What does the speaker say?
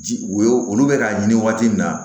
Ji o olu bɛ k'a ɲini waati min na